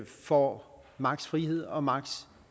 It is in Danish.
får max frihed og max